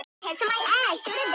mér er illt í hálsinum